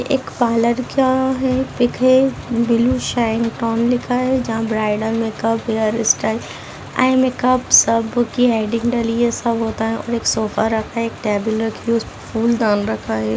एक पार्लर का हैं एक है ब्लूशाइंगटोन लिखा है जहां bridal makeup hairstyle eye makeup सब की हेडिंग डली है सब होता है और एक सोफा रखा है एक टेबल रखी है उसपे फूलदान रखा है।